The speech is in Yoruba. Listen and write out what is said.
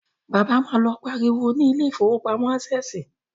Bàbá má lọ pariwo ni ilé ìfowópamọ́ Ásẹ̀sì